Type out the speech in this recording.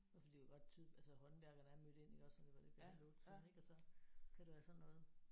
Og fordi det kunne godt tyde altså håndværkerne er mødt ind iggås og det var lidt ved halv 8 tiden og så kan det være sådan noget